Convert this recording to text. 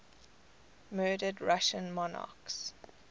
murdered russian monarchs